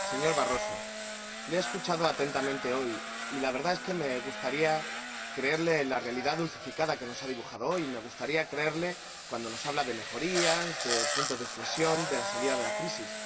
Señor Barroso, le he escuchado atentamente hoy y la verdad es que me gustaría creer en la realidad dulcificada que nos ha dibujado hoy, cuando nos habla de mejorías, de puntos de inflexión, de la salida de la crisis.